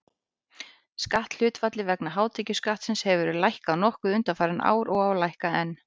Skatthlutfallið vegna hátekjuskattsins hefur verið lækkað nokkuð undanfarin ár og á að lækka enn.